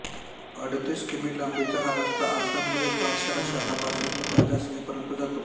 अडतीस किमी लांबीचा हा रस्ता आसाममधील पाठशाला शहरापासून भूतानच्या सीमेपर्यंत जातो